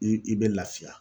i i bɛ lafiya.